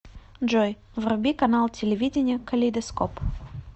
джой вруби канал телевидения калейдоскоп